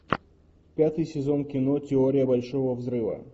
пятый сезон кино теория большого взрыва